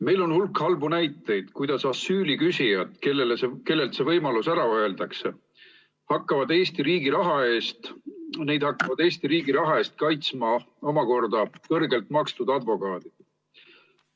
Meil on hulk halbu näiteid, kuidas asüüli küsijaid, kellele ära öeldakse, hakkavad Eesti riigi raha eest kaitsma omakorda kõrgelt makstud advokaadid.